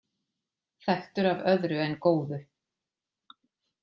Þekktur af öðru en góðu